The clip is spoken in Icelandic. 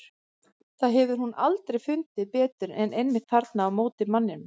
Það hefur hún aldrei fundið betur en einmitt þarna á móti manninum.